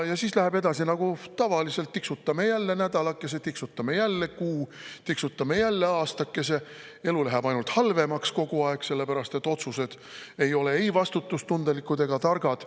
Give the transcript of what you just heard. Ja siis läheb edasi nagu tavaliselt: tiksutame jälle nädalakese, tiksutame jälle kuu, tiksutame jälle aastakese, elu läheb ainult halvemaks kogu aeg, sellepärast et otsused ei ole ei vastutustundlikud ega targad.